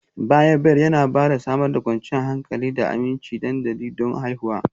Bayarwa Bed Yana Samar da kwanciyar hankali da aminci dandali don haihuwa